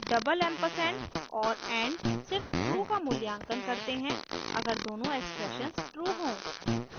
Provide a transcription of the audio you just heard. &&double ampersand और and सिर्फ true का मूल्यांकन करते हैं अगर दोनों एक्सप्रेशंस ट्रू हों